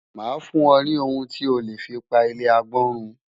Màá fún ọ ní ohun tí o lè fi pa ilé agbọ́n run.